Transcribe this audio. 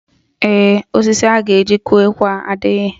Ee, osisi a ga-eji kụọ ekwe a adịghị